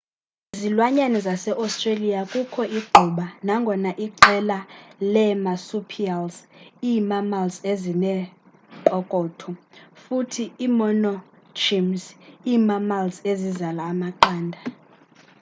kwizilwanyane zase-australia kukho igquba nangona iqela leemarsupials ii-mammals ezinempokotho futhi iimonotremes ii-mammals ezizala amaqanda